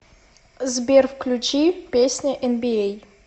сбер включи песня энбиэй